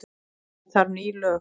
Það þarf ekki ný lög.